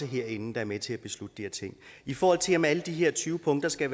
herinde der er med til at beslutte de her ting i forhold til om alle de her tyve punkter skal